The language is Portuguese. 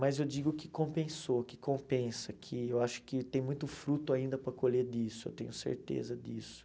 Mas eu digo que compensou, que compensa, que eu acho que tem muito fruto ainda para colher disso, eu tenho certeza disso.